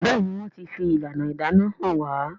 Béèni wón tí fi ìlànà ìdáná hàn wá.